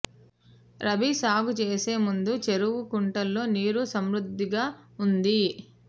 రబీ సాగు చేసే ముందు చెరువు కుంటల్లో నీరు సమృద్ధిగా ఉంది